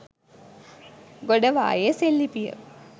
ගොඩවාය සෙල් ලිපිය